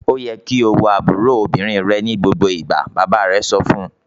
"Ó yẹ kí o wo àbúrò obìnrin rẹ ní gbogbo ìgbà!" Bàbá rẹ̀ sọ fún un.